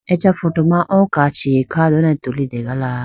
acha photo ma oo kachi kha done tulitegala.